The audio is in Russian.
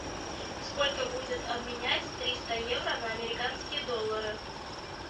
сколько будет обменять триста евро на американские доллары